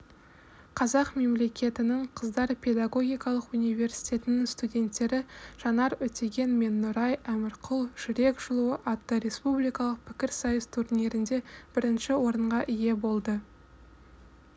қазақ мемлекетінің қыздар педагогикалық университетінің студенттері жанар өтеген мен нұрай әмірқұл жүрек жылуы атты республикалық пікірсайыс турнирінде бірінші орынға ие болды